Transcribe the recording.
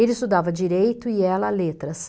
Ele estudava direito e ela letras.